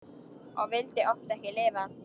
Og vildi oft ekki lifa.